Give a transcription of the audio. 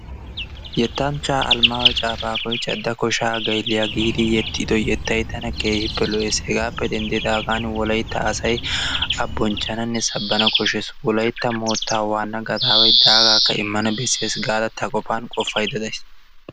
Yettanchchaa Almaayo Caafaqoy "cadda koshaa gaylliyaa" giidi yexxido yettay tana keehippe lo'ees. Hegaappe denddidaagan wolayitta asay A bonchchananne sabbana koshshees. Wolayitta moottaa waanna gadaaway daagaakka immana bessees gaada ta qofan qofaydda days.